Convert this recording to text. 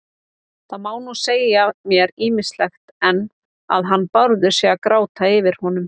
Það má nú segja mér ýmislegt, en að hann Bárður sé að gráta yfir honum